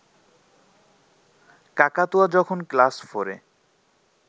কাকাতুয়া যখন ক্লাস ফোরে